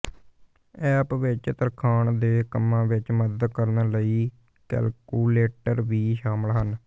app ਵਿਚ ਤਰਖਾਣ ਦੇ ਕੰਮਾਂ ਵਿਚ ਮਦਦ ਕਰਨ ਲਈ ਕੈਲਕੂਲੇਟਰ ਵੀ ਸ਼ਾਮਲ ਹਨ